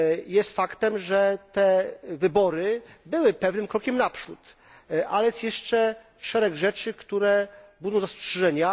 Jest faktem, że te wybory były pewnym krokiem naprzód, ale jest jeszcze szereg rzeczy, które budzą zastrzeżenia.